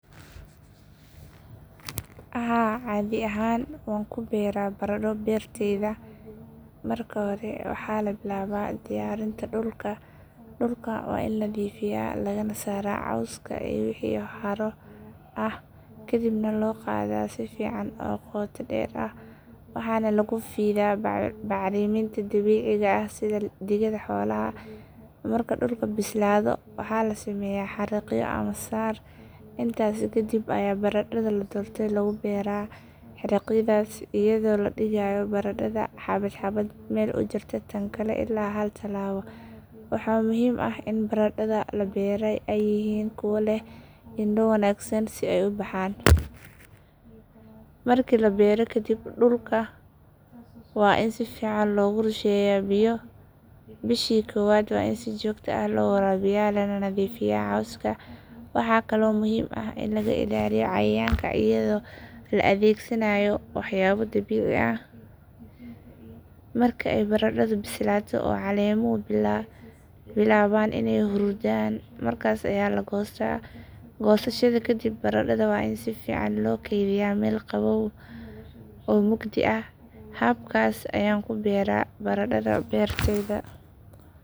Haa caadi ahaan waan ku beeraa baradho beertayda. Marka hore waxa la bilaabaa diyaarinta dhulka. Dhulka waa in la nadiifiyaa lagana saaraa cawska iyo wixii haro ah. Kadibna la qodaa si fiican oo qoto dheer ah waxaana lagu fidaa bacriminta dabiiciga ah sida digada xoolaha. Marka dhulku bislaado waxaa la sameeyaa xariiqyo ama sar. Intaasi kadib ayaa baradhada la doortay lagu beeraa xariiqyadaas iyadoo la dhigayo baradhada xabad xabad meel u jirta tan kale ilaa hal talaabo. Waxa muhiim ah in baradhada la beeraa ay yihiin kuwa leh indho wanaagsan si ay u baxaan. Markii la beero kadib dhulka waa in si fiican loogu rusheeyaa biyo. Bishii koowaad waa in si joogto ah loo waraabiyaa lana nadiifiyaa cawska. Waxaa kaloo muhiim ah in laga ilaaliyo cayayaanka iyadoo la adeegsanayo waxyaabo dabiici ah. Marka ay baradhadu bislaato oo caleemuhu bilaabaan inay huruudaan markaas ayaa la goostaa. Goosashada kadib baradhada waa in si fiican loo kaydiyaa meel qabow oo mugdi ah. Habkaas ayaan ku beeraa baradhada beertayda.